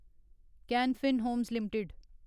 can Fin Homes limited